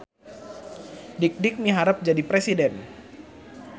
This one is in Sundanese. Dikdik miharep jadi presiden